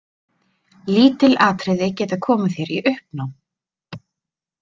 Lítil atriði geta komið þér í uppnám.